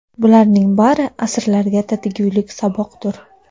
Bularning bari asrlarga tatigulik saboqdir.